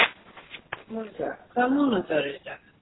Monika, hvaða mánaðardagur er í dag?